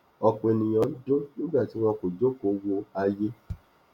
ọpọ ènìyàn ń dùn nígbà tí wọn jókòó wo ayé